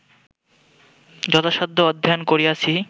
যথাসাধ্য অধ্যয়ন করিয়াছি